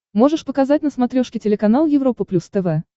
можешь показать на смотрешке телеканал европа плюс тв